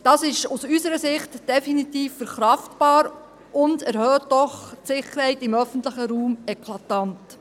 Das ist aus unserer Sicht definitiv verkraftbar und erhöht doch die Sicherheit im öffentlichen Raum eklatant.